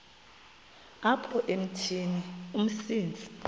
apha emithini umsintsi